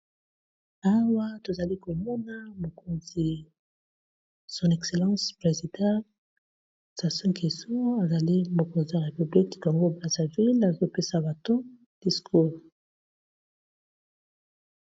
Awa tozali komona mokonzi son excellence présidant Sasu Ngeso, azali mokonzi ya répubc Congo brazaville, azopesa bato discours.